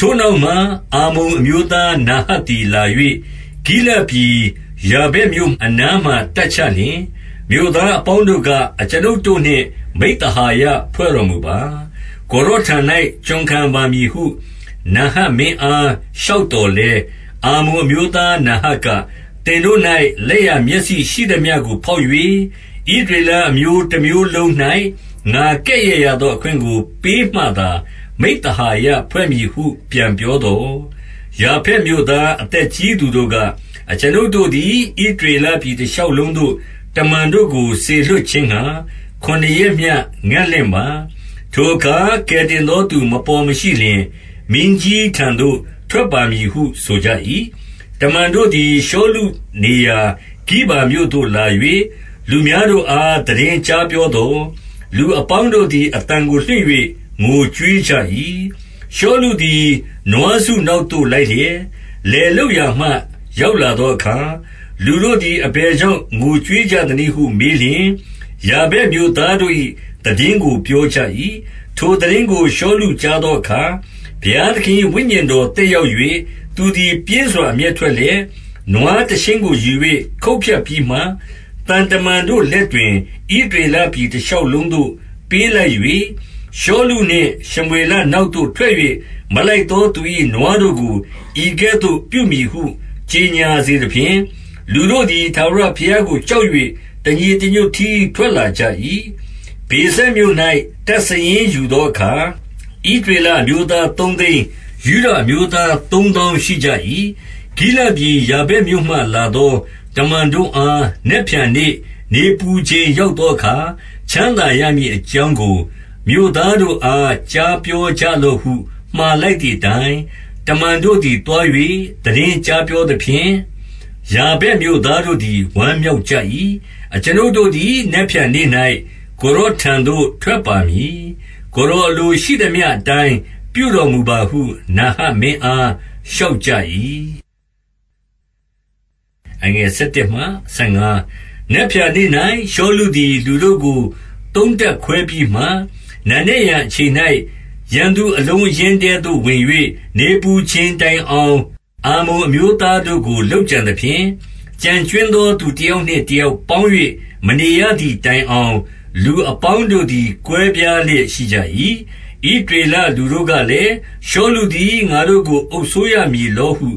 ထိုနောက်မှ အမ္မုန်အမျိုးသား နာဟတ်သည်လာ၍ ဂိလဒ်ပြည်ယာဗက်မြို့အနားမှာ တပ်ချလျှင်၊ မြို့သားအပေါင်းတို့က အကျွန်ုပ်တို့နှင့် မိဿဟာယဖွဲ့တော်မူပါ။ ကိုယ်တော်ထံ၌ ကျွန်ခံပါမည်ဟု နာဟတ်မင်းအားလျှောက်သော်လည်း၊ 2 အမ္မုန်အမျိုးသား နာဟတ်က၊ သင်တို့၌ လက်ျာမျက်စိရှိသမျှကို ဖောက်၍ ဣသရေလအမျိုးတမျိုး လုံး၌ ငါကဲ့ရဲ့ရသော အခွင့်ကို ပေးမှသာ မိဿဟာယဖွဲ့မည်ဟု ပြန်ပြောသော်၊ 3 ယာဗက်မြို့သား အသက်ကြီးသူတို့က၊ အကျွန်ုပ်တို့သည် ဣသရေလပြည်တရှောက်လုံးသို့ တမန် တို့ကို စေလွှတ်ခြင်းငှါ ခုနှစ်ရက်မျှ ငံ့လင့်ပါ။ ထိုအခါ ကယ်တင်သောသူ မပေါ်မရှိလျှင် မင်းကြီးထံ သို့ ထွက်ပါမည်ဟု ဆိုကြ၏။ 4 တမန်တို့သည် ရှောလုနေရာ ဂိဗာမြို့သို့လာ၍ လူများတို့အား သိတင်းကြားပြောသော်၊ လူအပေါင်းတို့သည် အသံကို လွှင့်၍ ငိုကြွေးကြ၏။ 5 ရှောလုသည် နွားစုနောက်သို့ လိုက်လျက် လယ်လုပ်ရာမှ ရောက်လာသောအခါ၊ လူတို့သည် အဘယ်ကြောင့် ငိုကြွေးကြသနည်းဟု မေးလျှင်၊ ယာဗက်မြို့သားတို့၏ သိတင်းကို ပြောကြ၏။ 6 ထိုသိတင်းကို ရှောလုကြားသောအခါ၊ ဘုရားသခင်၏ ဝိညာဉ်တော် သက်ရောက်၍ ထိုသူသည် ပြင်းစွာ အမျက်ထွက်လျက်၊ 7 နွားတရှဉ်းကို ယူ၍ ခုတ်ဖြတ်ပြီးမှ၊ သံတမန်တို့လက်တွင် ဣသရေလပြည် တရှောက်လုံးသို့ ပေးလိုက် ၍၊ ရှောလုနှင့်ရှမွေလနောက်သို့ ထွက်၍မလိုက်သောသူ၏ နွားတို့ကို ဤကဲ့သို့ပြုမည်ဟု ကြော်ငြာစေသ ဖြင့်၊ လူတို့သည် ထာဝရဘုရားကို ကြောက်၍ တညီတညွတ်တည်း ထွက်လာကြ၏။ 8 ဗေဇက်မြို့၌ တပ်စာရင်းယူသောအခါ၊ ဣသရေလအမျိုးသား သုံးသိန်း၊ ယုဒအမျိုးသား သုံးသောင်း ရှိကြ၏။ 9 ဂိလဒ်ပြည်ယာဗက်မြို့မှ လာသော တမန်တို့အား နက်ဖြန်နေ့ နေပူချိန် ရောက်သောအခါ ချမ်းသာ ရမည် အကြောင်းကို၊ မြို့သားတို့အား ကြားပြောလော့ဟု မှာလိုက်သည်အတိုင်း၊ တမန်တို့သည် သွား၍ သိတင်းကြားပြောသဖြင့် ယာဗက်မြို့သားတို့သည် ဝမ်းမြောက်ကြ၏။ 10 အကျွန်ုပ်တို့သည် နက်ဖြန်နေ့၌ ကိုယ်တော်ထံသို့ ထွက်ပါမည်။ ကိုယ်တော်အလိုရှိသမျှအတိုင်း ပြုတော် မူပါဟု နာဟတ်မင်းအား လျှောက်ကြ၏။ 11 နက်ဖြန်နေ့၌ ရှောလုသည် လူတို့ကို သုံးတပ်ခွဲပြီးမှ၊ နံနက်ယံအချိန်၌ ရန်သူအလုံးအရင်းထဲသို့ ဝင်၍ နေပူချိန်တိုင်အောင် အမ္မုန်အမျိုးသားတို့ကို လုပ်ကြံသဖြင့်၊ ကျန်ကြွင်းသောသူတယောက်နှင့် တယောက်ပေါင်း၍ မနေရသည်တိုင်အောင် လူအပေါင်းတို့သည် ကွဲပြားလျက် ရှိကြ၏။ 12 ဣသရေလလူတို့ကလည်း၊ ရှောလုသည် ငါတို့ကို အုပ်စိုးရမည်လောဟု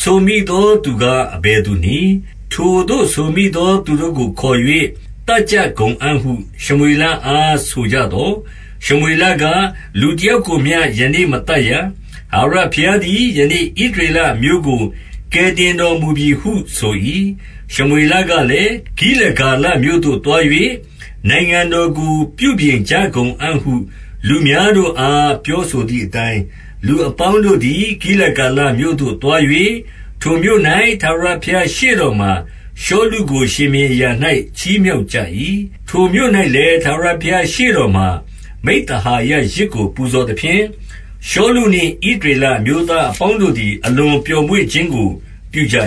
ဆိုမိသောသူကား အဘယ် သူနည်း။ ထိုသို့ဆိုမိသောသူတို့ကိုခေါ်၍ သတ်ကြကုန်အံ့ဟု ရှမွေလအားဆိုကြသော်၊ 13 ရှောလုက၊ လူတယောက်ကိုမျှ ယနေ့မသတ်ရ၊ ထာဝရဘုရားသည် ယနေ့ဣသရေလအမျိုးကို ကယ်တင်တော်မူပြီဟု ဆို၏။ 14 ရှမွေလကလည်း၊ ဂိလဂါလမြို့သို့သွား၍ နိုင်ငံတော်ကို ပြုပြင်ကြကုန်အံ့ဟု လူများတို့အား ပြောဆိုသည်အတိုင်း၊ 15 လူအပေါင်းတို့သည် ဂိလဂါလမြို့သို့ သွား၍၊ ထိုမြို့၌ ထာဝရဘုရားရှေ့တော်မှာ ရှောလုကို ရှင်ဘုရင် အရာ၌ ချီးမြှောက်ကြ၏။ ထိုမြို့၌လည်း၊ ထာဝရဘုရားရှေ့တော်မှာ မိဿဟာယယဇ်ကို ပူဇော်သဖြင့်၊ ရှောလုနှင့် ဣသရေလအမျိုးသားအပေါင်းတို့သည် အလွန်ပျော်မွေ့ခြင်းကို ပြုကြ